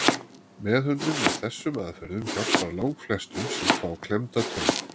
meðhöndlun með þessum aðferðum hjálpar langflestum sem fá klemmda taug